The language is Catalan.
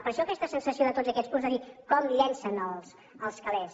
per això aquesta sensació de tots aquests punts de dir com llencen els calés